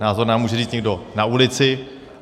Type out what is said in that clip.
Názor nám může říct někdo na ulici.